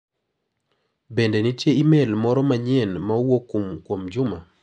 Bende nitie imel moro manyien ma owuok kuom Juma?